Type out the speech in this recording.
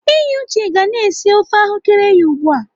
Enyi Uche ga na-esi ofe ahụ́kere ya ugbu a.